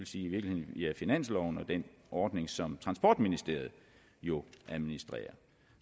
sige via finansloven og den ordning som transportministeriet jo administrerer